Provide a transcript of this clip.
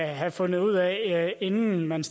have fundet ud af inden man